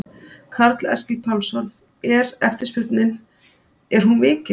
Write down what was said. Karl Eskil Pálsson: Er eftirspurnin, er hún mikil?